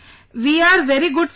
We are very good sir